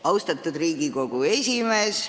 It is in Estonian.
Austatud Riigikogu esimees!